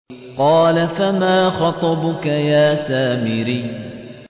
قَالَ فَمَا خَطْبُكَ يَا سَامِرِيُّ